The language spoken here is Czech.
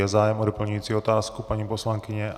Je zájem o doplňující otázku, paní poslankyně?